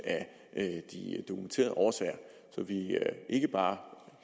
af de dokumenterede årsager så vi ikke bare